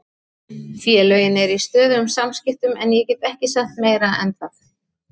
Félögin eru í stöðugum samskiptum en ég get ekki sagt meira en það.